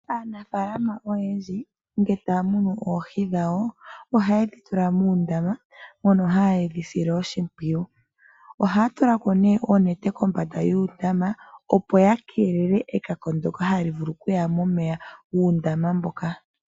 Aanafalama oyendji ngele taa munu oohi dhawo oha yedhi tula muundama mono hayedhi sile oshimpwiyu. Oha tulako neye oonete kombanda yuundama opo ya kelele ekako ndjoka hali vulu okuya momeya gu undama mboka.